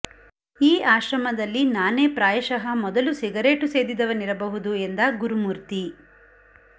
ಈ ಆಶ್ರಮದಲ್ಲಿ ನಾನೇ ಪ್ರಾಯಶಃ ಮೊದಲು ಸಿಗರೇಟು ಸೇದಿದವನಿರಬಹುದು ಎಂದ ಗುರುಮೂರ್ತಿ